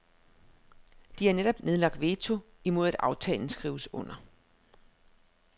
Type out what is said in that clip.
De har netop nedlagt veto imod at aftalen skrives under.